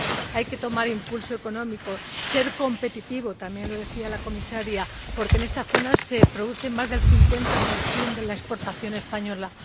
Hay que tomar impulso económico, ser competitivo también lo decía la Comisaria porque en esta zona se produce más del 50 de las exportaciones españolas.